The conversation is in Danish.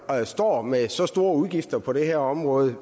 står med så store udgifter på det her område